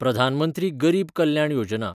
Pradhan Mantri Garib Kalyan Yojana